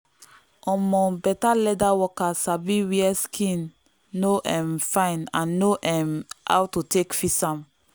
um better leather worker sabi where skin no um fine and know um how to take fix am.